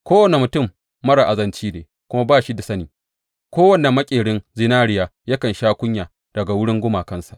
Kowane mutum marar azanci ne kuma ba shi da sani; kowane maƙerin zinariya yakan sha kunya daga wurin gumakansa.